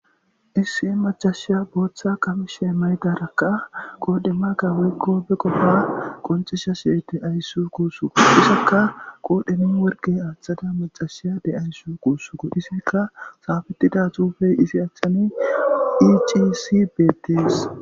Issi macassiya Botha qamisa mayada qoneka Woyko Be qofa qonccisashe Deawus gussuko qodhezan worqe athada Maccashiya de'awus gussuko Izika xafetida xufey izi achan bettes